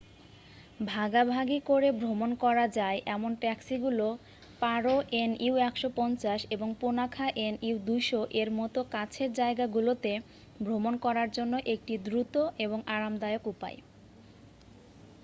ভাগাভাগি করে ভ্রমন করা যায় এমন ট্যাক্সিগুলো পারো এনইউ ১৫০ এবং পুনাখা এনইউ ২০০ এর মতো কাছের জায়গাগুলোতে ভ্রমণ করার জন্য একটি দ্রুত এবং আরামদায়ক উপায়।